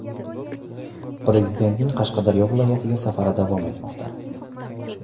Prezidentning Qashqadaryo viloyatiga safari davom etmoqda.